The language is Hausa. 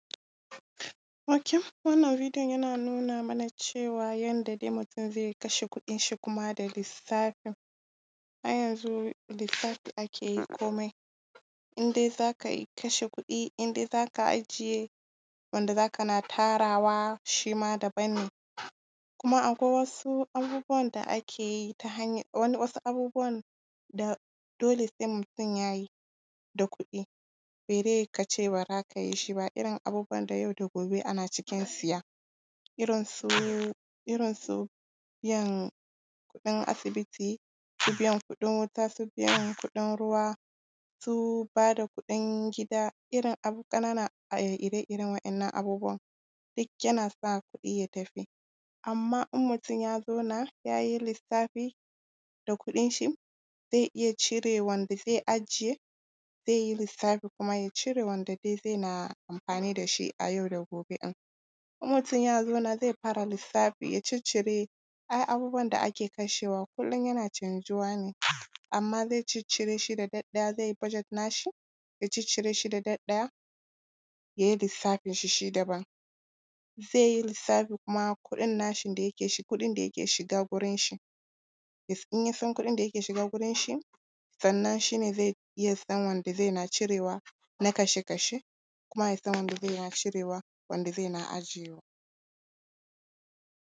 Ok. Wannan videon yana nuna mana cewa, yanda dai mutum zai kashe kuɗinshi kuma da lissafi. Ai yanzu lissafi ake yi komai, in dai za ka yi kashe kuɗi, in dai za ka ajiye wanda za kana tarawa, shi ma daban ne. Kuma akwai wasu abubuwan da ake yi ta hanyan… wasu abubuwan da dole sai mutum ya yi da kuɗi, ba dai ka ce ba za ka yi shi ba, irin abubuwan da yau da gobe ana cikin siya, irin su, irin su biyan kuɗin asibiti, su biyan kuɗin wuta, su biyan kuɗin ruwa, su ba da kuɗin gida, irin ƙananan ire-iren waɗannan abubuwan duk yana sa kuɗi ya tafi. Amma in mutum ya zauna, ya yi lissafi da kuɗinshi, zai iya cire wanda zai ajiye, zai yi lissafi kuma ya cire wanda ba zai na amfani da shi a yau da gobe ɗin. in mutum ya zauna zai fara lissafi, ya ciccire, ai abubuwan da ake kashewa kullum yana canjuwa ne, amma zai ciccire shi da ɗaiɗaya, zai yi budget nashi, ya ciccire shi da ɗaiɗaya, ya yi lissafinshi shi daban. Zai yi lissafi kuma kuɗin nashin da yake shiga, kuɗin da yake shiga gurinshi, in ya san kuɗin da yake shiga gurinshi, sannan shi ne zai iya san wanda zai na cirewa na kashe-kashe kuma ya san wanda zai na cirewa, wanda zai na ajewa.